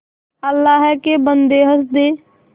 अल्लाह के बन्दे हंस दे